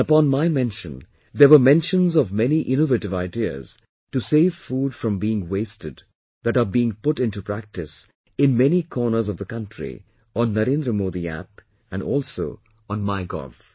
And upon my mention, there were mentions of many innovative ideas to save food from being wasted that are being put into practice employed in many corners of the country on NarendraModiApp and also on MyGov